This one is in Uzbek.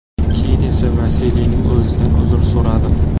Keyin esa Vasiliyning o‘zidan uzr so‘radim.